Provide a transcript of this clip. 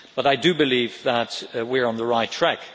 But I do believe that we are on the right track.